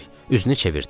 Üzünü çevirdi.